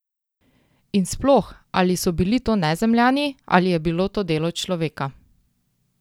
In sploh, ali so bili to Nezemljani ali je bilo to delo človeka?